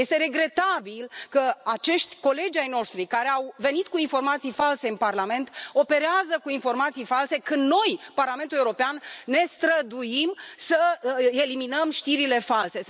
Este regretabil că acești colegi ai noștri, care au venit cu informații false în Parlament, operează cu informații false când noi, Parlamentul European, ne străduim să eliminăm știrile false.